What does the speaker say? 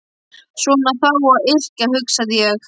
Svona á þá að yrkja, hugsaði ég.